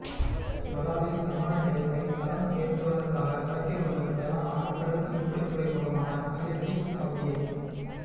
பலாலி விமான நிலையத்தை தரம் உயர்த்துவதற்காக வடக்கில் உள்ள பிரதான ஆழ்கடல் மீன்பிடித்துறைமுகமான மயிலிட்டி பகுதியை